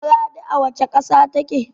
Maraɗi a wacce ƙasa take?